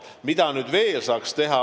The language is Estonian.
Mida veel saaks teha?